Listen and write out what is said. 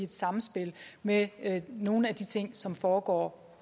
samspil med nogle af de ting som foregår